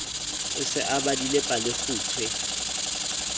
o se o badile palekgutshwe